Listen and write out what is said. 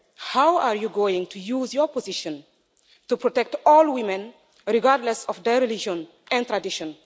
How are you going to use your position to protect all women regardless of their religion and tradition?